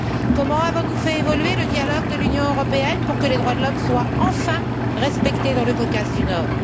Comment avons nous fait évoluer le dialogue de l'Union européenne pour que les droits de l'homme soient enfin respectés dans le Caucase du Nord?